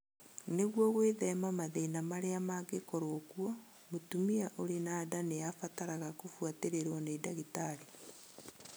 Nĩguo gwĩthema mathĩna marĩa mangĩkorũo kuo, mũtumia ũrĩ na nda nĩ abataraga kũbũatĩrĩrwo nĩ ndagĩtarĩ.